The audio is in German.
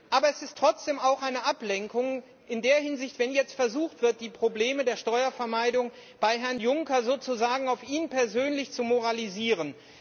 Aber es ist trotzdem auch eine Ablenkung in der Hinsicht, wenn jetzt versucht wird, die Probleme der Steuervermeidung bei Herrn Juncker sozusagen auf ihn persönlich zu moralisieren.